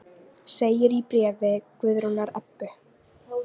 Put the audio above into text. Segir í bréfi Guðrúnar Ebbu.